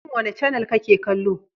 Shin wanda canel ne ka ke kallo?